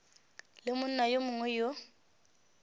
le monna yo mongwe yo